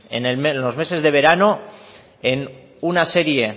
en los meses de verano en una serie